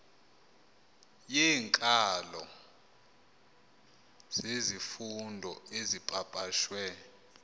yeenkalo zezifundo ezipapashwe